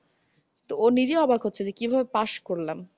তো ও নিজেও অবাক হচ্ছে যে কিভাবে pass করলাম।